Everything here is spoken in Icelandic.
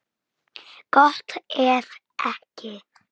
Gott ef ekki.